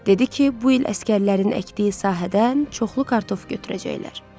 Dedi ki, bu il əsgərlərin əkdiyi sahədən çoxlu kartof götürəcəklər.